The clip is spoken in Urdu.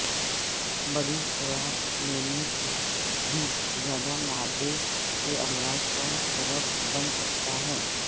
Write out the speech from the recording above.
بڑی خوراک لینے سے بھی زیادہ معدے کے امراض کا سبب بن سکتا ہے